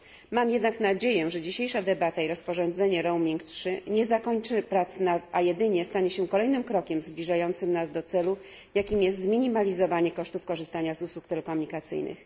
Mam jednak nadzieję, że dzisiejsza debata i rozporządzenie Roaming 3 nie zakończy prac, a jedynie stanie się kolejnym krokiem zbliżającym nas do celu, jakim jest zminimalizowanie kosztów korzystania z usług telekomunikacyjnych.